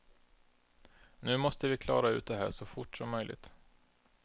Nu måste vi klara ut det här så fort som möjligt.